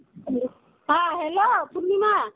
হ্যাঁ, Hello পূর্নিমা